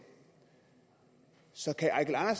så kan herre